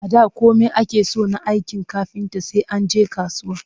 A da komai ake so na aikin kafinta sai an je kasuwa